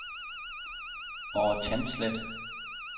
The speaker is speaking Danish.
Over Tandslet